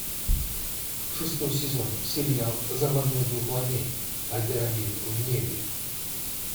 шестой сезон сериал заводной дух войны альдерамин в небе